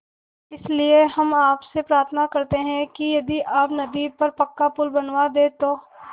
इसलिए हम आपसे प्रार्थना करते हैं कि यदि आप नदी पर पक्का पुल बनवा दे तो